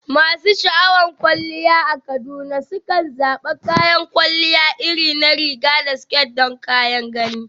Masu sha'awar kwalliya a Kaduna sukan zaɓi kayan kwalliya irin na riga da siket don kyan gani.